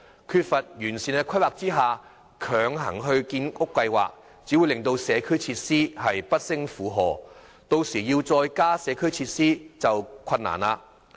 缺乏完善規劃下強行推展建屋計劃，只會令社區設施不勝負荷，其後要再加建社區設施便更困難。